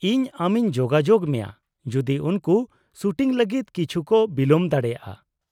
-ᱤᱧ ᱟᱢᱤᱧ ᱡᱳᱜᱟᱡᱳᱜ ᱢᱮᱭᱟ ᱡᱩᱫᱤ ᱩᱱᱠᱩ ᱥᱩᱴᱤᱝ ᱞᱟᱹᱜᱤᱫ ᱠᱤᱪᱷᱩ ᱠᱚ ᱵᱤᱞᱚᱢ ᱫᱟᱲᱮᱭᱟᱜᱼᱟ᱾